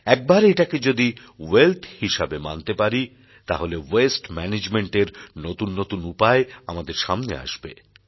একবার এটাকে যদি ওয়েলথ হিসেবে মানতে পারি তাহলে ওয়াস্তে ম্যানেজমেন্ট এর নতুন নতুন উপায় আমাদের সামনে আসবে